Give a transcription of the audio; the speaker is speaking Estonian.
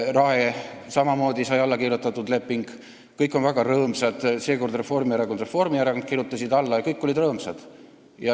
Rae kohta sai samamoodi leping alla kirjutatud, kõik olid väga rõõmsad, seekord kirjutasid alla Reformierakond ja Reformierakond alla ning kõik olid väga rõõmsad.